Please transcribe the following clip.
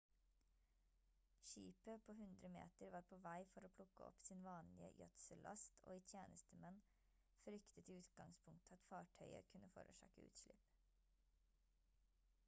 skipet på 100-meter var på vei for å plukke opp sin vanlige gjødsellast og i tjenestemenn fryktet i utgangspunktet at fartøyet kunne forårsake utslipp